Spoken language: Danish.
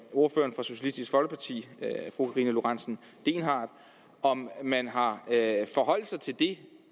ordføreren for socialistisk folkeparti fru karina lorentzen dehnhardt om man har forholdt sig til